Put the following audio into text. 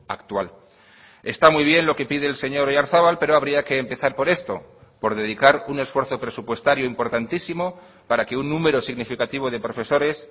actual está muy bien lo que pide el señor oyarzabal pero habría que empezar por esto por dedicar un esfuerzo presupuestario importantísimo para que un número significativo de profesores